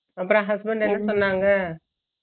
உன்ற Husband என்ன பண்ணாங்க